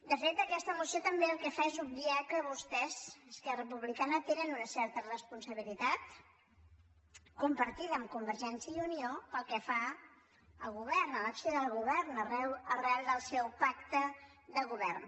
de fet aquesta moció també el que fa és obviar que vostès esquerra republicana tenen una certa responsabilitat compartida amb convergència i unió pel que fa a govern a l’acció del govern arran del seu pacte de govern